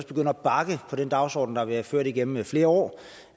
begynder at bakke på den dagsorden der har været ført igennem flere år